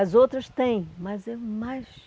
As outras têm, mas é mais...